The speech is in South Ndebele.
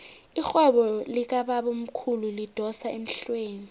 irhwebo likabamkhulu lidosa emhlweni